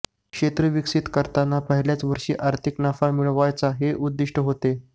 क्षेत्र विकसित करताना पहिल्याच वर्षी आर्थिक नफा मिळवायचा हे उद्दिष्ट होते